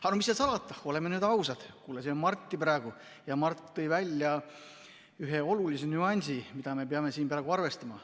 Aga mis seal salata, oleme ausad, kuulasime Marti praegu ja Mart tõi välja ühe olulise nüansi, mida me peame siin arvestama.